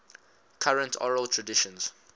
current oral traditions